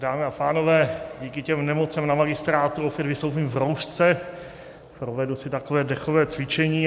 Dámy a pánové, díky těm nemocem na magistrátu opět vystoupím v roušce, provedu si takové dechové cvičení.